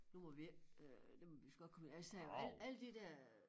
Nu må vi ikke øh det må vi vist godt komme altså alle alle de der øh